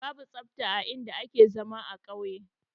Babu tsafta a in da yake zama a kauye